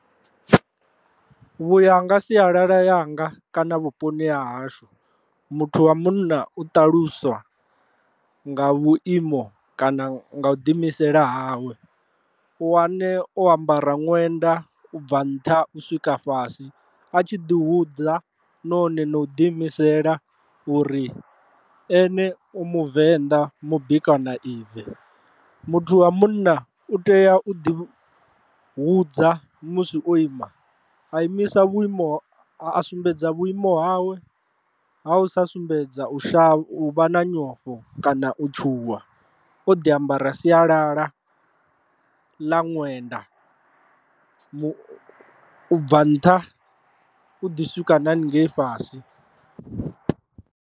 Vhu ya nga sialala yanga kana vhuponi ha hashu muthu wa munna u ṱaluswa nga vhuimo kana nga u ḓi imisela hawe, u wane o ambara ṅwenda u bva nṱha u swika fhasi a tshi ḓi hudza nahone no u ḓi imisela uri ene u muvenḓa mubikwa na ive. Muthu wa munna u tea u ḓi hudza musi o ima a imisa vhuimo a sumbedza vhuimo hawe ha u sa sumbedza u shavha u vha na nyofho kana u tshuwa o ḓi ambara sialala ḽa ṅwenda bva nṱha u ḓi swika na haningei fhasi.